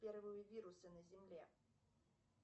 первые вирусы на земле